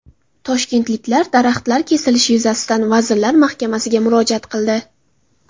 Toshkentliklar daraxtlar kesilishi yuzasidan Vazirlar Mahkamasiga murojaat qildi.